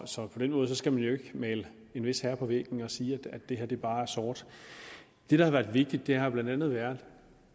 så på den måde skal man jo ikke male en vis herre på væggen og sige at det her bare er sort det der har været vigtigt har blandt andet været